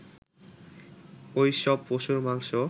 ওই সব পশুর মাংস